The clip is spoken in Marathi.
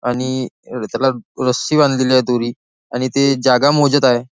आणि त्याला रस्सी बांधलेली आहे दोरी आणि ते जागा मोजत आहे.